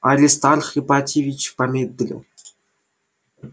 аристарх ипатьевич помедлил